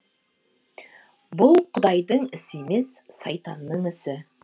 бұл құдайдың ісі емес сайтанның ісі